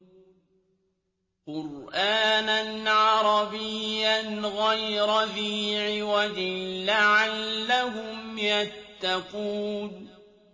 قُرْآنًا عَرَبِيًّا غَيْرَ ذِي عِوَجٍ لَّعَلَّهُمْ يَتَّقُونَ